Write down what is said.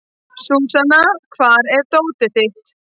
Súsan, hvar er dótið mitt?